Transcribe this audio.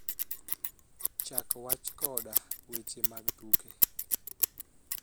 Chak wach koda weche mag tuke